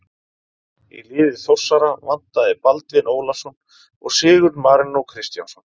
Í liði Þórsara vantaði Baldvin Ólafsson og Sigurð Marinó Kristjánsson.